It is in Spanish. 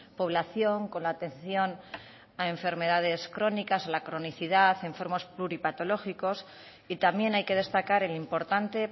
población con la atención a enfermedades crónicas a la cronicidad a enfermos pluripatológicos y también hay que destacar el importante